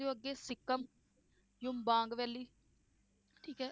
ਅੱਗੇ ਸਿਕਮ ਜੁਬਾਂਗ valley ਠੀਕ ਹੈ